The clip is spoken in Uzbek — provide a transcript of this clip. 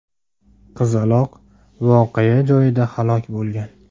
Qizaloq voqea joyida halok bo‘lgan.